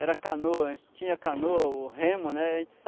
Era canoa, tinha canoa ou remo, né?